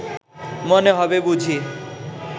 মনে হবে বুঝি